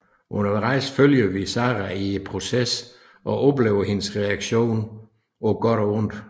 Undervejs følger vi Sara i processen og oplever hendes reaktioner på godt og ondt